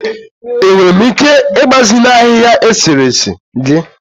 Enwere m ike ịgbazinye ahịhịa eserese gị?